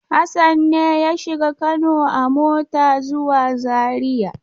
Hassan ne ya shiga Kano a mota zuwa Zariya?